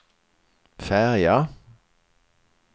färja